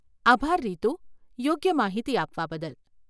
આભાર રીતુ, યોગ્ય માહિતી આપવા બદલ.